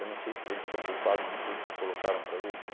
Eu não sei se eles são culpados de tudo que colocaram para eles, né?